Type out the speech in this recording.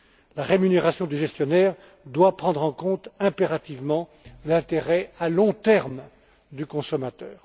La rémunération des gestionnaires doit prendre en compte impérativement l'intérêt à long terme du consommateur.